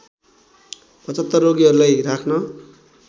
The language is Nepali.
७५ रोगीहरूलाई राख्न